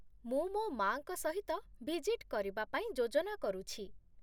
ମୁଁ ମୋ ମା'ଙ୍କ ସହିତ ଭିଜିଟ୍ କରିବା ପାଇଁ ଯୋଜନା କରୁଛି।